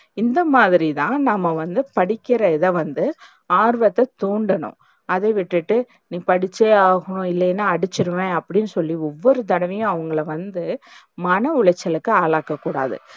இந்தமாதிரிதா நாம்ம வந்து படிக்கிற இதவந்து ஆர்வத்த தூண்டனும். அதவிட்டுட்டு நீ படிச்சே ஆகணும் இல்லனா அடிச்சுருவேன் அப்டின்னு, சொல்லி ஒவ்வொரு தடவையும் அவங்கள வந்து மனவுளைச்சலுக்கு ஆளாக்கக்கூடாது.